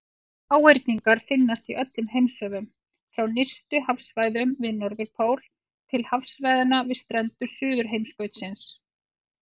Háhyrningar finnast í öllum heimshöfum, frá nyrstu hafsvæðunum við Norðurpól til hafsvæðanna við strendur Suðurheimskautsins.